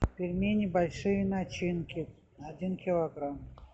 пельмени большие начинки один килограмм